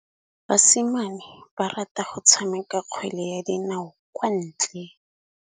Basimane ba rata go tshameka kgwele ya dinaô kwa ntle.